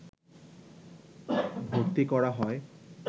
ভর্তি করা হয়